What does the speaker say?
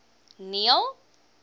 neil